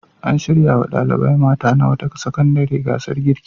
An shirya wa ɗalibai mata na wata sakandare gasar girki.